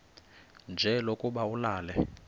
nje lokuba ulale